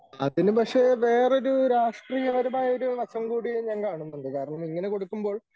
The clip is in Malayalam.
അതിനു പക്ഷേ വേറൊരു രാഷ്ട്രീയപരമായൊരു വശം കൂടി ഞാൻ കാണുന്നുണ്ട്. കാരണം ഇങ്ങനെ കൊടുക്കുമ്പോൾ